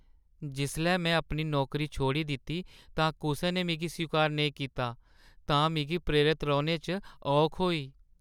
जिसलै में अपनी नौकरी छोड़ी दित्ती तां कुसै ने मिगी स्वीकार नेईं कीता तां मिगी प्रेरत रौह्‌ने च औख होई।